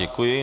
Děkuji.